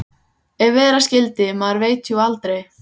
Ef vera skyldi. maður veit jú aldrei.